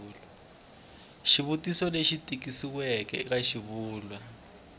xivuriso lexi tikisiweke eka xivulwa